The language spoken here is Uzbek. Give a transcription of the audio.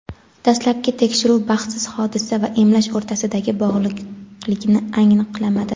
Dastlabki tekshiruv baxtsiz hodisa va emlash o‘rtasidagi bog‘liqlikni aniqlamadi.